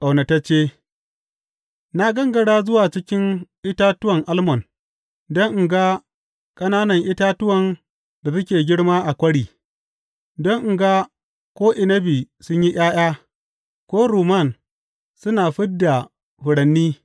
Ƙaunatacce Na gangara zuwa cikin itatuwan almon don in ga ƙananan itatuwan da suke girma a kwari, don in ga ko inabi sun yi ’ya’ya ko rumman suna fid da furanni.